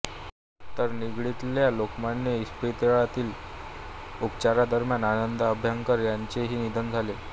तर निगडीतल्या लोकमान्य इस्पितळातील उपचारांदरम्यान आनंद अभ्यंकर याचेही निधन झाले